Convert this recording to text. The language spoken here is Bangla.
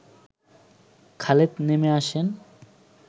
খালেদ নেমে আসেন